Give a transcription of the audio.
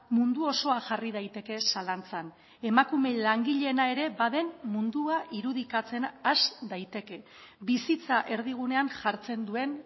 mundu osoa jarri daiteke zalantzan emakume langileena ere baden mundua irudikatzen has daiteke bizitza erdigunean jartzen duen